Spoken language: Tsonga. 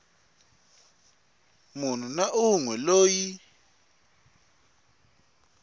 munhu na un we loyi